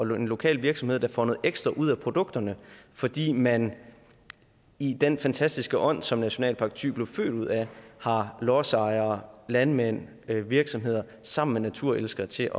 lokal virksomhed der får noget ekstra ud af produkterne fordi man i den fantastiske ånd som nationalpark thy blev født ud af har lodsejere landmænd virksomheder sammen med naturelskere til